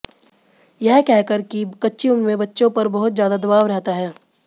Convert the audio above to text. यह कहकर कि कच्ची उम्र में बच्चों पर बहुत ज्यादा दबाव रहता है